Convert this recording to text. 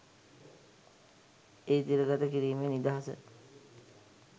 එය තිරගත කිරීමේ නිදහස